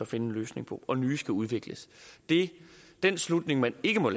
finde en løsning på og nye skal udvikles den slutning man ikke må